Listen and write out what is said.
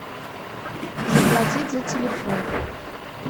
заплатить за телефон